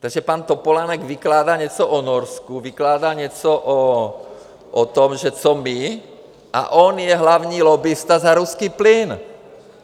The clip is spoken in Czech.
Takže pan Topolánek vykládá něco o Norsku, vykládá něco o tom, že co my, a on je hlavní lobbista za ruský plyn.